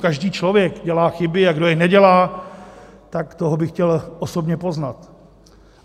Každý člověk dělá chyby, a kdo je nedělá, tak toho bych chtěl osobně poznat.